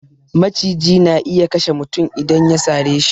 Maciji na iya kashe mutum idan ya sare shi